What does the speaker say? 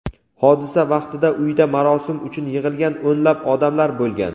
Hodisa vaqtida uyda marosim uchun yig‘ilgan o‘nlab odamlar bo‘lgan.